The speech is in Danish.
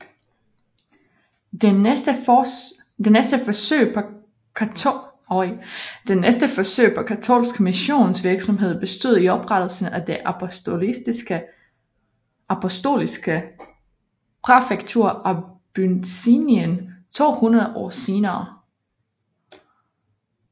Det næste forsøg på katolsk missionsvirksomhed bestod i oprettelsen af det apostoliske præfektur Abyssinien to hundrede år senere